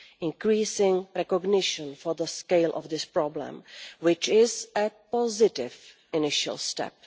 increasing recognition of the scale of this problem, which is a positive initial step.